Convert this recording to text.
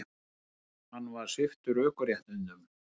Hann var sviptur ökuréttindum